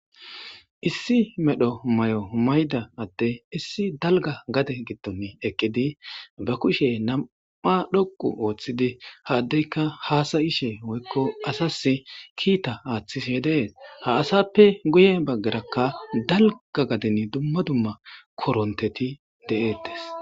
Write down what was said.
issi medho may7o mayda adde issi dalga gade gitton eqqidi ba kushe nam7a dhoqu ooththidi haddeyka haasayishe hoykko asas kiita aaththis yedees ha asappe guye baggarakka dalga gadin dumma dumma koronteti de7eettes